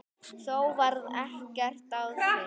Þó varð ekkert af því.